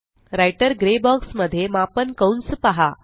writer grey box मध्ये मापन कंस पहा